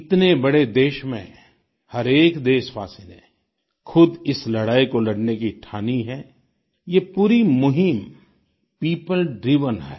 इतने बड़े देश में हरएक देशवासी ने खुद इस लड़ाई को लड़ने की ठानी है ये पूरी मुहिम पियोपल ड्राइवेन है